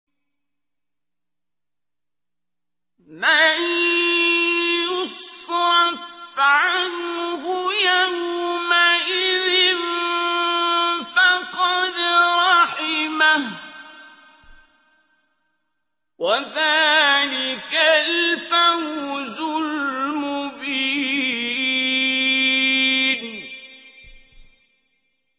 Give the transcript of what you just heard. مَّن يُصْرَفْ عَنْهُ يَوْمَئِذٍ فَقَدْ رَحِمَهُ ۚ وَذَٰلِكَ الْفَوْزُ الْمُبِينُ